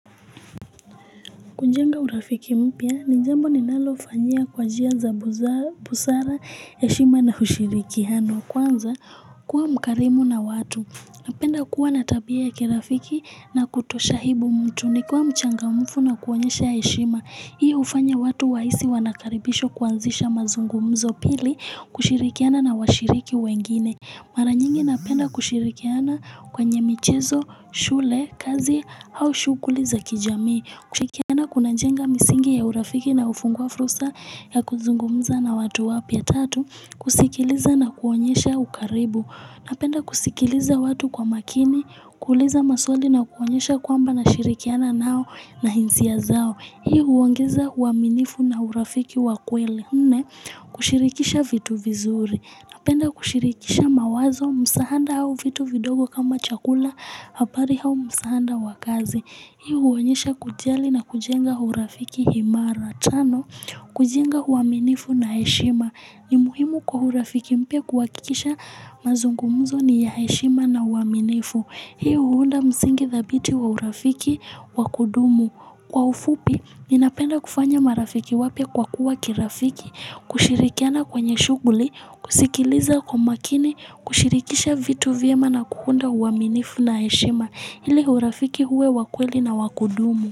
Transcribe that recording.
Kujenga urafiki mpia, nijambo ninalo ufanyia kwa jia za busara ya shima na ushirikihano. Kwanza, kuwa mkarimu na watu. Napenda kuwa na tabia ya kerafiki na kutosha hibu mtuni. Kuwa mchangamfu na kuwanyesha ya shima. Hii ufanya watu waisi wanakaribishwa kuanzisha mazungu mzo pili kushirikiana na washiriki wengine. Mara nyingi napenda kushirikiana kwenye michezo, shule, kazi au shukuli za kijami. Kushikiana kunajenga misingi ya urafiki na ufungua frusa ya kuzungumuza na watu wapya tatu kusikiliza na kuonyesha ukaribu napenda kusikiliza watu kwa makini kuuliza maswali na kuonyesha kwamba nashirikiana nao nahizia zao hiu uangeza uaminifu na urafiki wakweli mne kushirikisha vitu vizuri napenda kushirikisha mawazo msahanda au vitu vidogo kama chakula hapari hau msahanda wakazi Hiu huonyesha kujali na kujenga hurafiki himara. Tano, kujenga huaminifu na eshima. Ni muhimu kwa hurafiki mpia kwa kikisha mazungumuzo ni ya eshima na huaminifu. Hii hunda msingi thabiti wa hurafiki wakudumu. Kwa ufupi, ninapenda kufanya marafiki wapya kwa kuwa kirafiki. Kushirikiana kwenye shuguli, kusikiliza kwa makini, kushirikisha vitu vyema na kuhunda huaminifu na eshima. Ili hurafiki huwe wa kweli na wa kudumu.